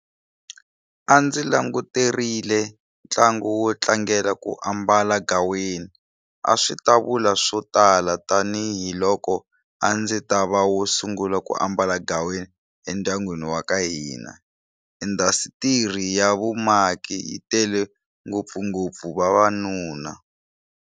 A ndzi languterile ntlangu wo tlangela ku ambala gaweni. A swi ta vula swo tala tanihiloko a ndzi tava wo sungula ku ambala gaweni endyangwini waka hina. Indasitiri ya vumaki yi tele ngopfungopfu vavanuna.